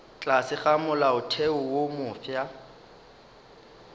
tlase ga molaotheo wo mofsa